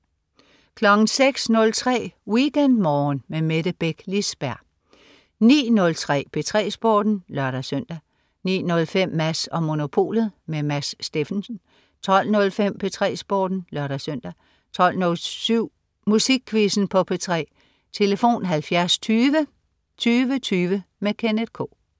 06.03 WeekendMorgen med Mette Beck Lisberg 09.03 P3 Sporten (lør-søn) 09.05 Mads & Monopolet. Mads Steffensen 12.05 P3 Sporten (lør-søn) 12.07 Musikquizzen på P3. Tlf.: 70 20 20 20. Kenneth K